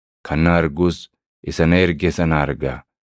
Kan na argus isa na erge sana arga.